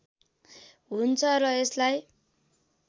हुन्छ र यसलाई